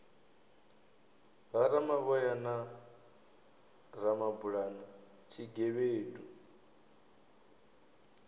ha ramavhoya na ramabulana tshigevhedu